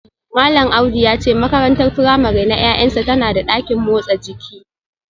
Malam Audu ya ce makarantar firamare na ’ya’yansa tana da dakin motsa jiki